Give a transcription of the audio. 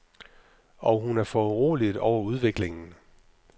Og hun er foruroliget over udviklingen.